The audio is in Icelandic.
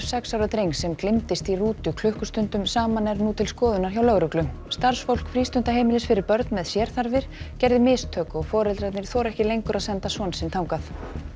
sex ára drengs sem gleymdist í rútu klukkustundum saman er nú til skoðunar hjá lögreglu starfsfólk frístundaheimilis fyrir börn með sérþarfir gerði mistök og foreldrarnir þora ekki lengur að senda son sinn þangað